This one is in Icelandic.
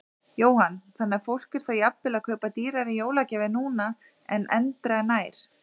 Jóhann: Þannig að fólk er þá jafnvel að kaupa dýrari jólagjafir núna en endranær?